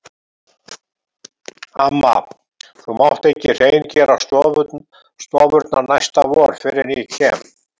Amma, þú mátt ekki hreingera stofurnar næsta vor fyrr en ég kem.